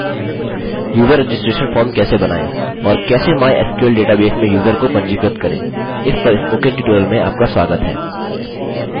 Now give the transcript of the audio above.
user registration पंजीकरण form कैसे बनाएँ और कैसे mysql डेटाबेस में यूज़र को पंजीकृत करें इस पर स्पोकन ट्यूटोरियल में आपका स्वागत है